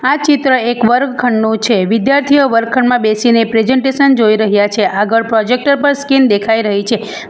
આ ચિત્ર એક વર્ગખંડનો છે વિદ્યાર્થીઓ વર્ગખંડમાં બેસીને પ્રેજન્ટેશન જોઈ રહ્યા છે આગળ પ્રોજેક્ટર પર સ્કીન દેખાય રહી છે.